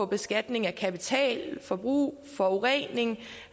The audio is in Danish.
beskatning af kapital forbrug forurening